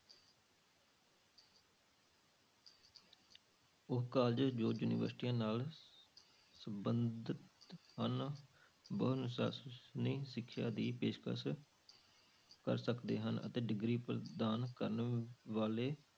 ਉਹ college ਜੋ ਯੂਨੀਵਰਸਟੀਆਂ ਨਾਲ ਸੰਬੰਧਤ ਹਨ ਬਹੁ ਅਨੁਸਾਸਨੀ ਸਿੱਖਿਆ ਦੀ ਪੇਸ਼ਕਸ ਕਰ ਸਕਦੇ ਹਨ, ਅਤੇ degree ਪ੍ਰਦਾਨ ਕਰਨ ਵਾਲੇ